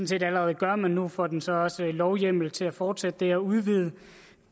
set allerede gør men nu får den så også lovhjemmel til at fortsætte det og udvide